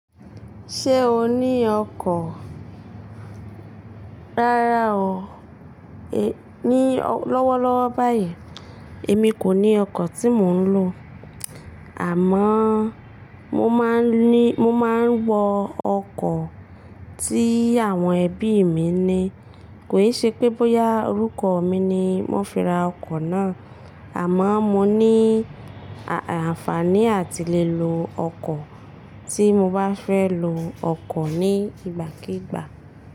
Ṣé o ní ọkọ̀? Rárá o, ní lọ́wọ́lọ́wọ́ báyìí èmi kò ní ọkọ̀ tí mò ń lò. Àmọ́ mo máa ń ní, mo máa ń wọ ọkọ̀ tí àwọn ẹbí mi ní. Kò ì ṣe pé bóyá orúkọ mi ni wọ́n fi ra ọkọ̀ náà. Àmọ́ mo ní àǹfààní àti lè lo ọkọ̀ tí mo bá fẹ́ lo ọkọ̀ ní ìgbàkígbà.